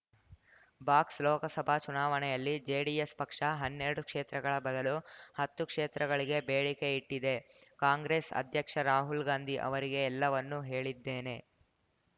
box Lok Sabha ಚುನಾವಣೆಯಲ್ಲಿ JDS ಪಕ್ಷ ಹನ್ನೆರಡು ಕ್ಷೇತ್ರಗಳ ಬದಲು ಹತ್ತು ಕ್ಷೇತ್ರಗಳಿಗೆ ಬೇಡಿಕೆ ಇಟ್ಟಿದೆ ಕಾಂಗ್ರೆಸ್ ಅಧ್ಯಕ್ಷ ರಾಹುಲ್ ಗಾಂಧಿ ಅವರಿಗೆ ಎಲ್ಲವನ್ನು ಹೇಳಿದ್ದೇನೆ